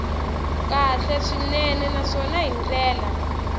kahle swinene naswona hi ndlela